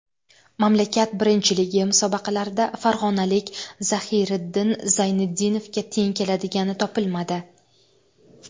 Mamlakat birinchiligi musobaqalarida farg‘onalik Zahiriddin Zayniddinovga teng keladigan topilmadi.